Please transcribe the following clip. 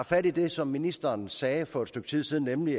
fat i det som ministeren sagde for et stykke tid siden nemlig